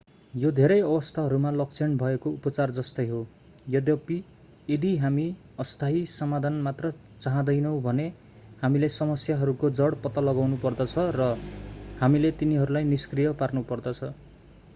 यो धेरै अवस्थाहरूमा लक्षण भएको उपचार जस्तै हो यद्यपि यदि हामी अस्थायी समाधान मात्र चाहँदैनौँ भने हामीले समस्याहरूको जड पत्ता लगाउनुपर्दछ र हामीले तिनीहरूलाई निष्क्रिय पार्नुपर्दछ